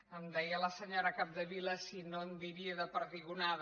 em deia la senyora capdevila si no en diria de perdigonada